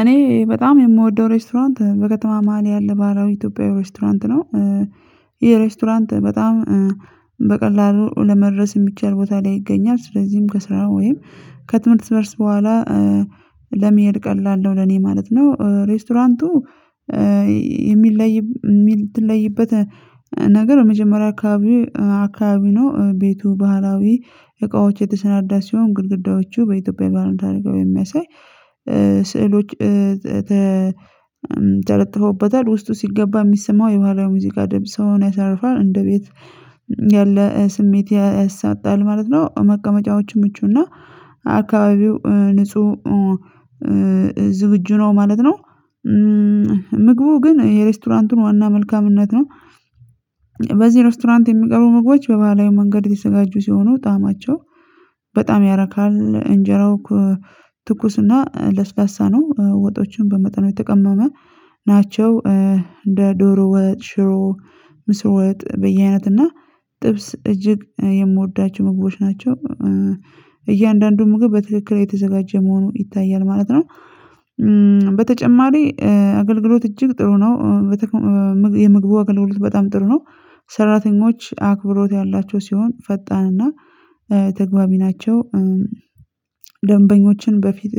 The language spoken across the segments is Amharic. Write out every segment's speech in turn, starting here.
እኔ በጣም የምወደው ሬስቶራንት በከተማ ማህል ያለ ባህላዊ ኢትዮጵያዊ ሬስቶራንት ነው። ይሄ ሬስቶራንት በጣም በቀላሉ ለመድረስ የሚቻል ቦታ ላይ ይገኛል ስለዚህም ከስራ ወይም ከትምህርት መልስ በኋላ ለመሄድ ቀላል ነው ለኔ ማለት ነው። ሬስቶራንቱ የሚለይ የሚል የምትለይበት ነገር የመጀመሪያ አካባቢ አካባቢ ነው። ቤቱ ባህላዊ እቃዎች የተሰናዳ ሲሆን ግድግዳዎቹ በኢትዮጵያ የባልንድ አድርጋ የሚያሳይ ስዕሎች ተለጥፈውበታል ውስጡ ሲገባ የሚሰማው የባህላዊ ሙዚቃ ድንጽ ያሳርፋል እንደ ቤት ያለ ስሜት ያሰጣል ማለት ነው። መቀመጫዎቹን ምቹና አካባቢው ንጹህ ዝግጁ ነው ማለት ነው። ምግቡ ግን የሬስቶራንቱን ዋና መልካምነት ነው። በዚህ ሬስቶራንት የሚቀሩ ምግቦች በባህላዊ መንገድ የተዘጋጁ ሲሆኑ ጣዕማቸው በጣም ያረካል። እንጀራው ትኩስና ለስላሳ ነው ወጦችን በመጠኑ የተቀመመ ናቸው እንደ ዶሮ ወጥ ሽሮ ምስር ወጥ በየአይነት እና ጥብስ እጅግ የምወዳቸው ምግቦች ናቸው። ምግብ በትክክል የተዘጋጀ መሆኑ ይታያል ማለት ነው። በተጨማሪ አገልግሎት እጅግ ጥሩ ነው። የምግቡ አገልግሎት በጣም ጥሩ ነው ሰራተኞች አክብሮት ያላቸው ሲሆን ፈጣንና ተግባቢ ናቸው። ደንበኞችን በፊት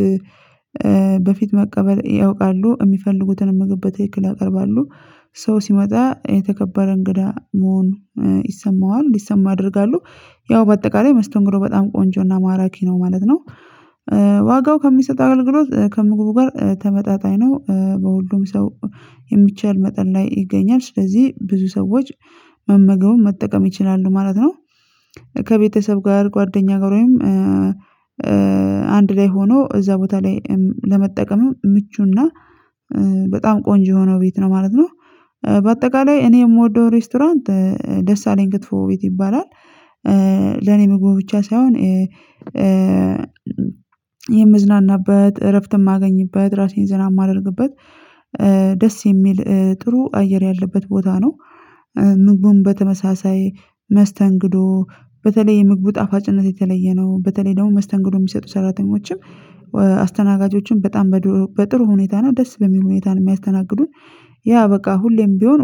በፊት መቀበል ያውቃሉ የሚፈልጉትን መገበት ትክክል ያቀርባሉ ሰው ሲመጣ የተከበረ እንግዳ መሆን ይሰማዋል እንዲሰማ አደርጋለሁ ያው በአጠቃላይ መስተንግዶ በጣም ቆንጆና ማራኪ ነው ማለት ነው። ዋጋው ከሚሰጥ አገልግሎት ከምግቡ ጋር ተመጣጣኝ ነው በሁሉም ሰው የሚቻል መጠን ላይ ይገኛል ስለዚህ ብዙ ሰዎች መመገቡን መጠቀም ይችላሉ ማለት ነው። ከቤተሰብ ጋር ጓደኛ ጋር ወይም አንድ ላይ ሆኖ እዛ ቦታ ላይ ለመጠቀም ምቹና በጣም ቆንጆ የሆነው ቤት ነው ማለት ነው። በአጠቃላይ እኔ የምወደው ሬስቶራንት ደስ አለኝ ክትፎ ቤት ይባላል። ለእኔ ምግቡ ብቻ ሳይሆን የምዝናናበት እረፍት የማገኝበት ራሴን ዘና የማደርግበት ደስ የሚል ጥሩ አየር ያለበት ቦታ ነው። ምግቡን በተመሳሳይ መስተንግዶ በተለይ የምግቡ ጣፋጭነት የተለየ ነው በተለይ ደግሞ መስተንግዶ የሚሰጡ ሰራተኞችም አስተናጋጆችም በጣም በጥሩ ሁኔታ ነው ደስ በሚል ሁኔታ ነው የሚያስተናግዱት ያ በቃ ሁሌም ቢሆን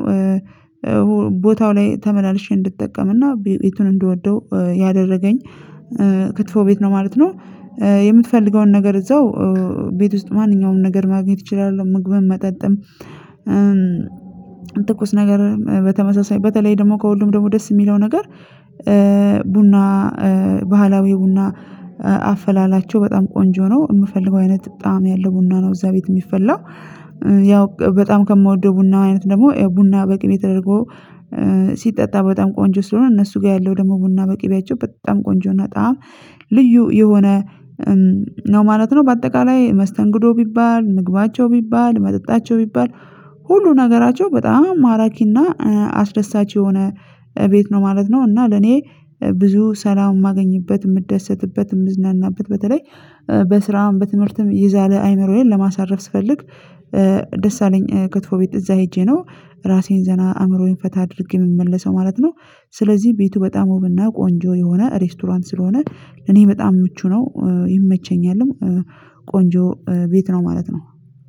ቦታው ላይ ተመላልሼ እንድጠቀምና ቤቱን እንድወደው ያደረገኝ ክትፎ ቤት ነው ማለት ነው። የምትፈልገውን ነገር እዛው ቤት ውስጥ ማንኛውንም ነገር ማግኘት እችላለሁ። ምግብም መጠጥም ትኩስ ነገር በተመሳሳይ በተለይ ደግሞ ከሁሉም ደግሞ ደስ የሚለው ነገር ቡና ባህላዊ ቡና አፈላላቸው በጣም ቆንጆ ነው። የምፈልገው አይነት በጣም ያለው ቡና ነው። እዛ ቤት የሚፈላው ያው በጣም ከምወደው ቡና አይነት ደግሞ ቡና በቅም የተደረገው ሲጠጣ በጣም ቆንጆ ስለሆነ እነሱ ጋር ያለው ደግሞ ቡና በቅቤያቸው በጣም ቆንጆና ጣዕም ልዩ የሆነ ነው ማለት ነው። በአጠቃላይ መስተንግዶ ቢባል ምግባቸው ቢባል መጠጣቸው ቢባል ሁሉ ነገራቸው በጣም ማራኪና አስደሳች የሆነ ቤት ነው ማለት ነው። እና ለኔ ብዙ ሰላም የማገኝበት የምደሰትበት የምዝናናበት በተለይ በስራም በትምህርትም ይዛለ አይምሮዬን ለማሳረፍ ስፈልግ ደስ አለኝ ከትፎ ቤት እዛ ሄጄ ነው ራሴን ዘና አእምሮዬን ፈታ አድርጌ የምመለሰው ማለት ነው። ስለዚህ ቤቱ በጣም ውብና ቆንጆ የሆነ ሬስቶራንት ስለሆነ እኔ በጣም ምቹ ነው ይመቸኛልም ቆንጆ ቤት ነው ማለት ነው